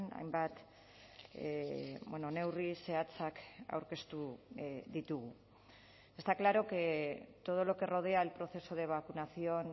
hainbat neurri zehatzak aurkeztu ditugu está claro que todo lo que rodea el proceso de vacunación